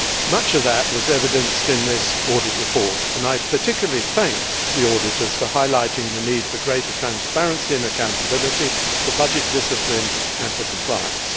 Much of that was evidenced in this audit report and I particularly thank the auditors for highlighting the need for greater transparency and accountability, for budget discipline and for compliance.